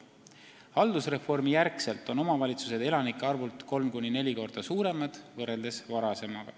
Haldusreformi järel on omavalitsused elanike arvult kolm kuni neli korda suuremad varasemaga võrreldes.